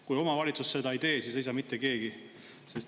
Kui omavalitsus seda ei tee, siis ei tee seda mitte keegi.